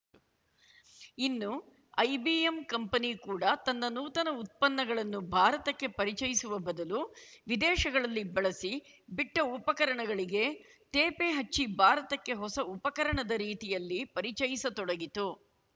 ಇನ್ನು IBM company ಕೂಡಾ ತನ್ನ ನೂತನ ಉತ್ಪನ್ನಗಳನ್ನು ಭಾರತಕ್ಕೆ ಪರಿಚಯಿಸುವ ಬದಲು ವಿದೇಶಗಳಲ್ಲಿ ಬಳಸಿ ಬಿಟ್ಟಉಪಕರಣಗಳಿಗೆ ತೇಪೆ ಹಚ್ಚಿ ಭಾರತಕ್ಕೆ ಹೊಸ ಉಪಕರಣದ ರೀತಿಯಲ್ಲಿ ಪರಿಚಯಿಸತೊಡಗಿತು